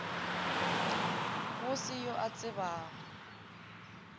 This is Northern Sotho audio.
go se yo a tsebago